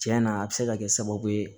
Cɛn na a bɛ se ka kɛ sababu ye